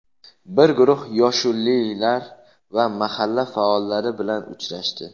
bir guruh yoshullilar va mahalla faollari bilan uchrashdi.